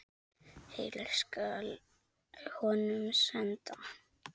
Heill skal honum senda.